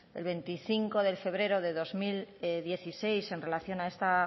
veinticinco de febrero del dos mil dieciséis en relación a esta